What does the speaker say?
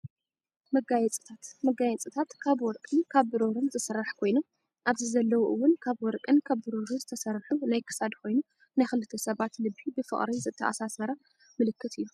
መጋፅታት ፦መጋየፅታት ካብ ወርቅን ካብ ብሩርን ዝስራሕ ኮይኑ ኣብዚ ዘለው እውን ካብ ወርቅን ካብ ብሩሩን ዝተሰርሑ ናይ ክሳድ ኮይኑ ናይ ክልተ ሰባት ልቢ ብፍቅሪ ተኣሳሰረ ምልኽት እዩ።